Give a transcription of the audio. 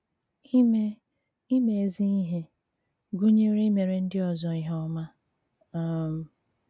Ímé Ímé ézí íhè” gụnyere íméré ndị ọzọ íhè ọ́mà um.